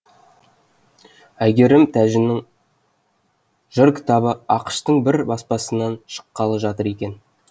әйгерім тәжінің жыр кітабы ақш тың бір баспасынан шыққалы жатыр екен